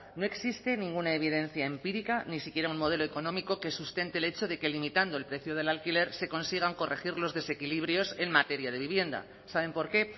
no existe ninguna evidencia empírica ni siquiera un modelo económico que sustente el hecho de que limitando el precio del alquiler se consigan corregir los desequilibrios en materia de vivienda saben por qué